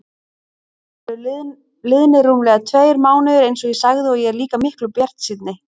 Síðan eru liðnir rúmlega tveir mánuðir einsog ég sagði og ég er líka miklu bjartsýnni.